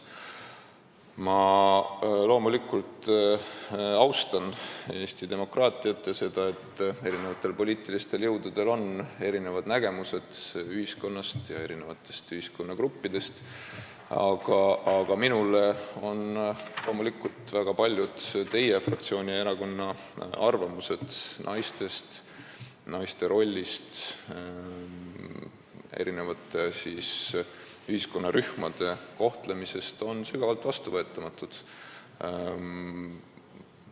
Ma loomulikult austan Eesti demokraatiat ja seda, et poliitilistel jõududel on erinev nägemus ühiskonnast ja ühiskonnagruppidest, aga minule on väga paljud teie fraktsiooni ja erakonna seisukohad naiste ja nende rolli, eri ühiskonnarühmade kohtlemise kohta sügavalt vastuvõetamatud.